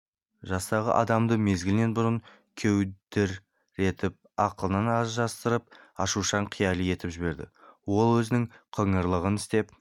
жастағы адамды мезгілінен бұрын кеудіретіп ақылынан алжастырып ашушаң қияли етіп жіберді ол өзінің қыңырлығын істеп